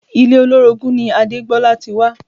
Ilé olórogún ni Adégbolá ti wá